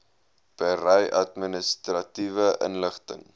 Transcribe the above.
berei administratiewe inligting